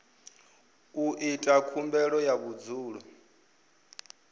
u ita khumbelo ya vhudzulo